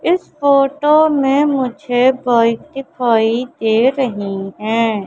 इस फोटो में मुझे बाइक दिखाई दे रही हैं।